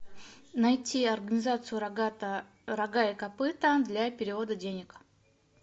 найти организацию рога и копыта для перевода денег